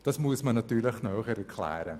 Das muss man natürlich näher erklären.